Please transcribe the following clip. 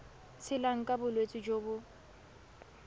tshelang ka bolwetsi jo bo